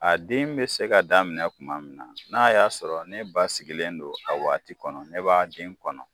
A den be se ka daminɛ tuma min na n'a y'a sɔrɔ ne ba sigilen don a waati kɔnɔ ne b'a den kɔnɔ.